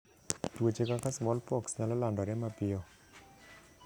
Tuoche kaka smallpox nyalo landore mapiyo.